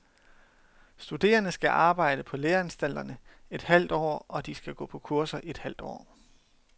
Studerende skal arbejde på læreanstalterne et halvt år og de skal gå på kurser i et halvt år.